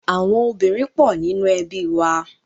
Àwọn obìnrin pọ̀ nínú ẹbí wa.